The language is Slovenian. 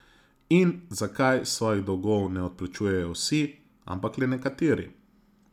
In zakaj svojih dolgov ne odplačujejo vsi, ampak le nekateri?